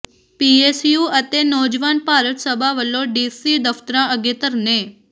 PSU ਅਤੇ ਨੌਜਵਾਨ ਭਾਰਤ ਸਭਾ ਵੱਲੋਂ DC ਦਫ਼ਤਰਾਂ ਅੱਗੇ ਧਰਨੇ